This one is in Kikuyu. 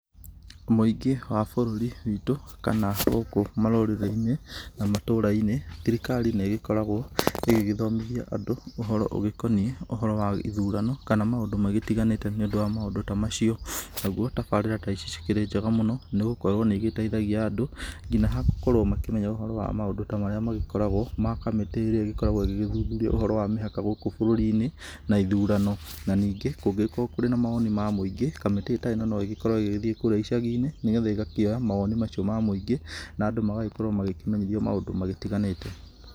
Mũingĩ wa bũrũri witũ kana gũkũ marũrĩrĩ-inĩ na matũra-inĩ thirikari nĩ ĩgĩkoragwo igĩgĩthomithia andũ ũhoro ũgĩkoniĩ ũhoro wa ithurano kana maũndũ magĩtiganĩte nĩ ũndũ wa maũndũ ta macio, nagũo tabarĩra ta ici cikĩrĩ njenga mũno nĩ gũkorwo nĩ igĩteithagia andũ nginya hagũkorwo makĩmenya maũndũ ta marĩa magĩkoragwo ma kamĩtĩ ĩrĩa ĩgĩkoragwo ĩgĩthuthuria ũhoro wa mĩhaka gũkũ bũrũri-inĩ na ithurano ,na ningĩ kũngĩgĩkorwo kũrĩ na mawono ma mũingĩ kamĩtĩ ta ĩno no ĩgĩkorwo ĩgĩgĩthiĩ kũrĩa icagi-inĩ nĩgetha ĩgakĩoya mawoni mau ma mũingĩ na andũ magagĩkorwo makĩmenyithio maũndũ magĩtiganĩte.